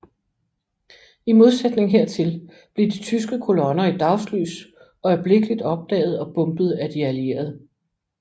I modsætning hertil blev de tyske kolonner i dagslys øjeblikkeligt opdaget og bombet af de allierede